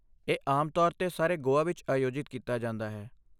ਇਹ ਆਮ ਤੌਰ 'ਤੇ ਸਾਰੇ ਗੋਆ ਵਿੱਚ ਆਯੋਜਿਤ ਕੀਤਾ ਜਾਂਦਾ ਹੈ।